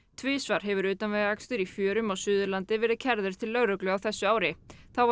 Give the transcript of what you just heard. tvisvar hefur utanvegaakstur í fjörum á Suðurlandi verið kærður til lögreglu á þessu ári þá var